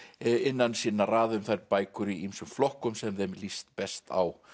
innan sinna raða um þær bækur í ýmsum flokkum sem þeim líst best á